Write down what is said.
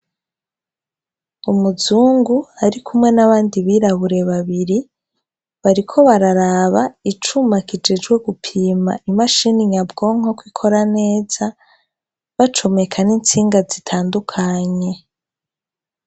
Umuzungu ari kumwe n'abandi birabure babiri bariko bararaba icumakijejwe gupima imashini nyabwonkoko ikora neza bacumeka n'intsinga zitandukanye.